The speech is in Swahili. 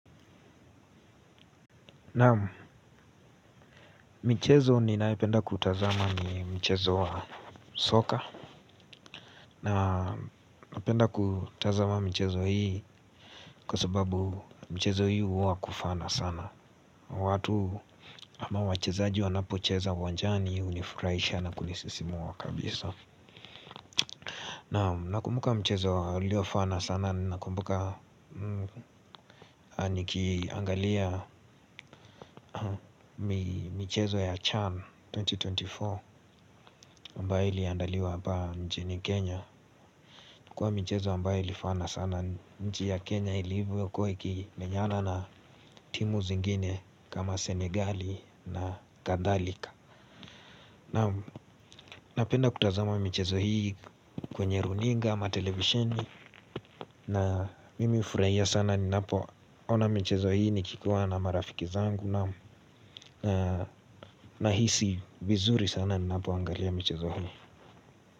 Naam michezo ninayopenda kutazama ni mchezo wa soka. Na napenda kutazama michezo hii kwa sababu michezo hii huwa wa kufana sana. Watu ama wachezaji wanapocheza uwanjani hunifurahisha na kunisisimua kabisa. Naam nakumbuka mchezo uliofana sana ninakumbuka nikiangalia michezo ya Chan elfu mbili na ishirini na nne ambayo iliandaliwa hapa nchini Kenya kwa michezo ambayo ilifana sana nchi ya Kenya ilivokuwa ikimenyana na timu zingine kama Senegal na kadhalika. Naam napenda kutazama michezo hii kwenye runinga ama televisheni. Na mimi hufurahia sana ninapoona michezo hii nikiwa na marafiki zangu naam. Nahisi vizuri sana ninapoangalia michezo hii.